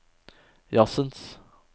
jazzens